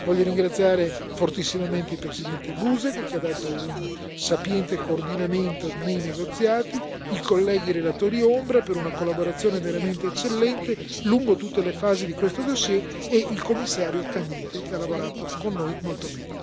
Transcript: Voglio ringraziare fortissimamente il presidente Busek, che ha dato un sapiente coordinamento nei negoziati, i colleghi relatori ombra per una collaborazione veramente eccellente lungo tutte le fasi di questo fascicolo, e il Commissario Cañete, che ha lavorato con noi molto bene.